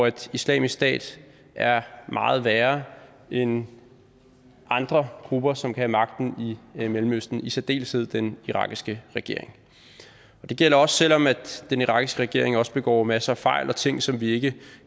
at islamisk stat er meget værre end andre grupper som kan have magten i mellemøsten i særdeleshed den irakiske regering selv om den irakiske regering også begår masser af fejl og laver ting som vi ikke